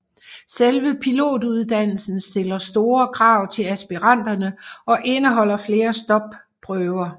Selve pilotuddannelsen stiller store krav til aspiranterne og indeholder flere stopprøver